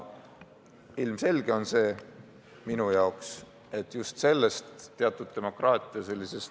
Minu jaoks on ilmselge, et just sellisest demokraatia tüüplõksust ...